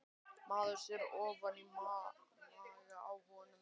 Maður sér ofan í maga á honum